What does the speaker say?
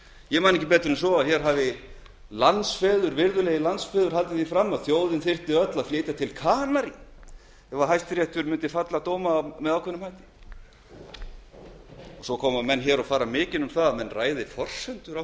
ég man ekki betur en virðulegir landsfeður hafi haldið því fram að þjóðin þyrfti öll að flytja til kanaríeyja ef hæstiréttur mundi fella dóma á ákveðinn hátt svo koma menn og fara mikinn